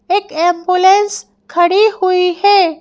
एक एंबुलेंस खड़ी हुई है।